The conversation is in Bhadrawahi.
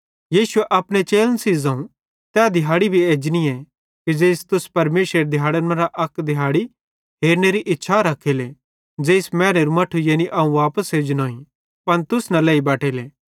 यीशुए अपने चेलन सेइं ज़ोवं तै दिहाड़ी भी एजनीए कि ज़ेइस तुस परमेशरेरी दिहैड़न मरां अक दिहाड़ी हेरनेरी इच्छा रखेले ज़ेइस मैनेरू मट्ठे यानी अवं वापस एजनोईं पन तुस न लेई बटेले